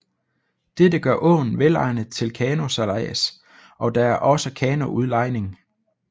Dette gør åen velegnet til kanosejlads og der er også kanoudlejning